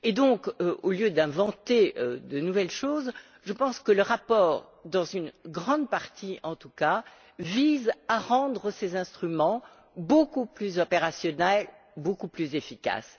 Donc, au lieu d'inventer de nouvelles choses, je pense que le rapport, dans une grande partie en tout cas, vise à rendre ces instruments beaucoup plus opérationnels et beaucoup plus efficaces.